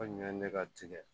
Ko ɲinɛn ne ka tigɛ